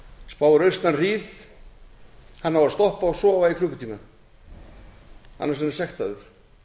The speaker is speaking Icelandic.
spáir austan hríð hann á að stoppa og sofa í klukkutíma annars verður hann sektaður